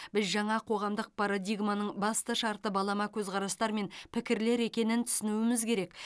біз жаңа қоғамдық парадигманың басты шарты балама көзқарастар мен пікірлер екенін түсінуіміз керек